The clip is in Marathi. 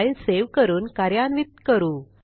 फाईल सेव्ह करून कार्यान्वित करू